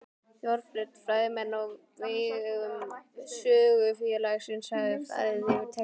Þorbjörn: Fræðimenn á vegum Sögufélagsins hafa farið yfir textann?